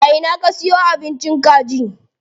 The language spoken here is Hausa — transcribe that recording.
A ina ka siyo abincin kaji?